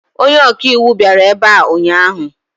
Onye ọka iwu bịara ebe a ụnyaahụ.